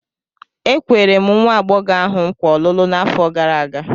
E kwere m nwa agbọghọ ahụ nkwa ọlụlụ n'afọ gara aga.